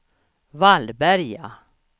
Vallberga